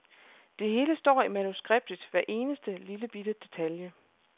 Det hele står i manuskriptet, hver eneste lillebitte detalje.